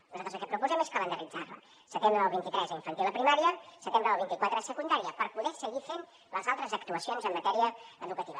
nosaltres el que proposem és calendaritzar la setembre del vint tres a infantil i primària setembre del vint quatre a secundària per poder seguir fent les altres actuacions en matèria educativa